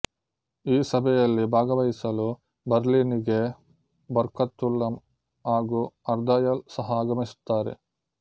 ಈ ಸಭೆಯಲ್ಲಿ ಭಾಗವಹಿಸಲು ಬರ್ಲಿನ್ ಗೆ ಬರ್ಕತುಲ್ಲ ಹಾಗು ಹರ್ದಯಾಲ್ ಸಹ ಆಗಮಿಸುತ್ತಾರೆ